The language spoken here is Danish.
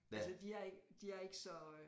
Altså de er ikke de er ikke så